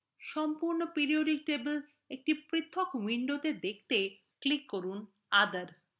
সম্পূর্ণ periodic table একটি পৃথক window দেখতে other click করুন